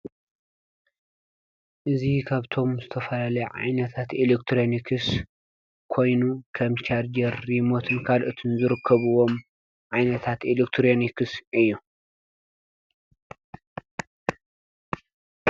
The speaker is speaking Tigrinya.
እዙ ኻብቶም ዝተፈላለዩ ዓይነታት ኤሌክትሮንክስ ኮይኑ ከም ቻርጀር ፣ሪሞትን ካልኦትን ዝርከብዎም ዓይነታት ኤልክትሮንክስ እዩ።